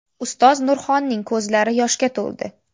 Ustoz Nurxonning ko‘zlari yoshga to‘ldi.